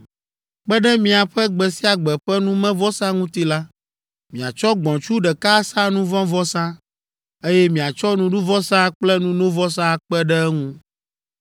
Kpe ɖe miaƒe gbe sia gbe ƒe numevɔsa ŋuti la, miatsɔ gbɔ̃tsu ɖeka asa nu vɔ̃ vɔsa, eye miatsɔ nuɖuvɔsa kple nunovɔsa akpe ɖe eŋu.